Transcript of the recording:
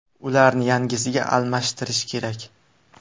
Ularni yangisiga almashtirish kerak.